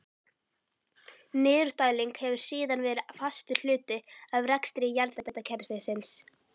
Niðurdæling hefur síðan verið fastur hluti af rekstri jarðhitakerfisins.